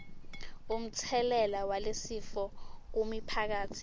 umtselela walesifo kumiphakatsi